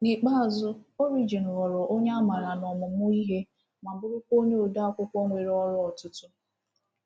N’ikpeazụ, Origen ghọrọ onye amara n’ọmụmụ ihe ma bụrụkwa onye ode akwụkwọ nwere ọrụ ọtụtụ.